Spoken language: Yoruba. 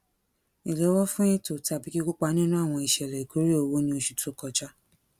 ìléwó fún ètò tàbí kíkópa nínú àwọn ìṣẹlẹ ìkórè owó ní oṣù tó kọjá